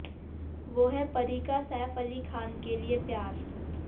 वो है परी का सैफ अली खान के लिए प्यार